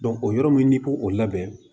o yɔrɔ min n'i ko o labɛn